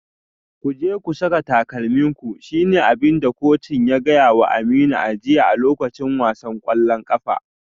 Ku je ku saka takalminku shi ne abin da kocin ya gaya wa Aminu a jiya a lokacin wasan kwallon kafa.